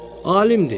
Alimdir.